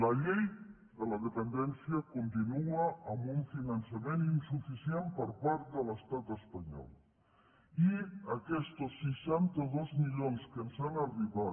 la llei de la dependència continua amb un finançament insuficient per part de l’estat espanyol i aquests seixanta dos milions que ens han arribat